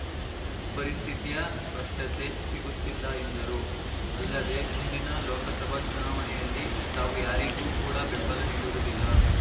ಪರಿಸ್ಥಿತಿಯ ಸ್ಪಷ್ಟತೆ ಸಿಗುತ್ತಿಲ್ಲ ಎಂದರು ಅಲ್ಲದೆ ಮುಂದಿನ ಲೋಕಸಭಾ ಚುನಾವಣೆಯಲ್ಲಿ ತಾವು ಯಾರಿಗೂ ಕೂಡ ಬೆಂಬಲ ನೀಡುವುದಿಲ್ಲ